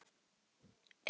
Eða sjóinn?